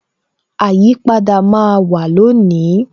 Àyípadà máa wà lónìí